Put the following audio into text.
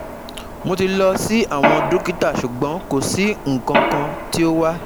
Mo ti lọ si awọn dokita ṣugbọn ko si nkankan ti o wa